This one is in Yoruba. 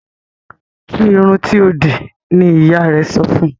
Tu irun tíó dì ní ìyá rẹ sọfún!